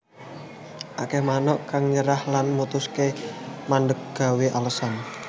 Akeh manuk kang nyerah lan mutusaké mandhek gawé alasan